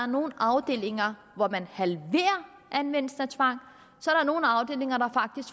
nogle afdelinger halverer anvendelsen af tvang